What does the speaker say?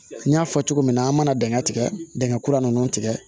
N y'a fɔ cogo min na an mana dingɛ tigɛ dingɛ kura ninnu tigɛ